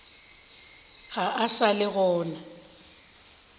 ga a sa le gona